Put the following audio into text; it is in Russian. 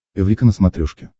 эврика на смотрешке